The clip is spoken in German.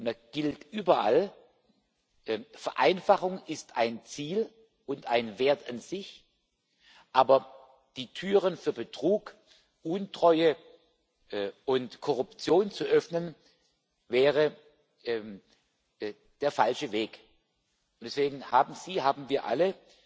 Da gilt überall Vereinfachung ist ein Ziel und ein Wert an sich, aber die Türen für Betrug, Untreue und Korruption zu öffnen, wäre der falsche Weg. Und deswegen haben Sie sich, haben wir